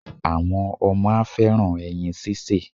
Àwọn ọmọ á fẹ́ràn ẹyin síse.